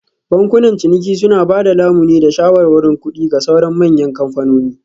Bankunan ciniki suna ba da lamuni da shawarwarin kuɗi ga sauran manyan kamfanoni